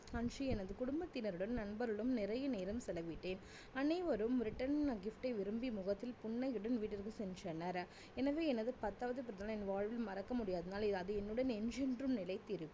அன்று எனது குடும்பத்தினருடன் நண்பருடனும் நிறைய நேரம் செலவிட்டேன். அனைவரும் return gift ஐ விரும்பி முகத்தில் புன்னகையுடன் வீட்டிற்கு சென்றனர். எனவே எனது பத்தாவது பிறந்தநாளை என் வாழ்வில் மறக்க முடியாத நாள் இ~அது என்னுடன் என்றென்றும் நிலைத்திருக்கும்